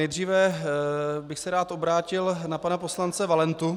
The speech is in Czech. Nejdříve bych se rád obrátil na pana poslance Valentu.